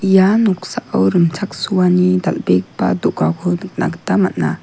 ia noksao rimchaksoani dal·begipa do·gako nikna gita man·a.